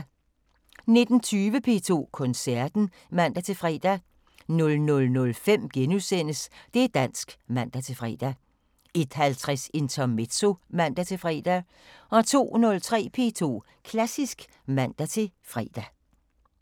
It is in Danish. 19:20: P2 Koncerten (man-fre) 00:05: Det´ dansk *(man-fre) 01:50: Intermezzo (man-fre) 02:03: P2 Klassisk (man-fre)